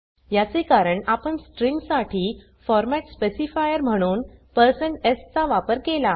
याचे कारण आपण स्ट्रिँग साठी फॉर्मॅट स्पेसिफायर म्हणून s चा वापर केला